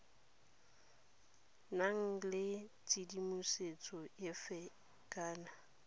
nang le tshedimosetso efe kana